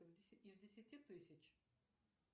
из десяти тысяч